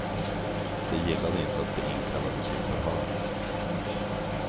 De gillade inte att bli inkallade till förhör.